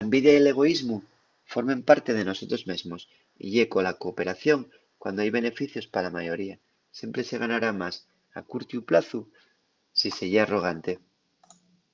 la envidia y l'egoísmu formen parte de nosotros mesmos y ye cola cooperación cuando hai beneficios pa la mayoría siempre se ganará más a curtiu plazu si se ye arrogante